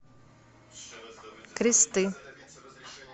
кресты